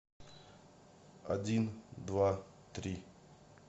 один два три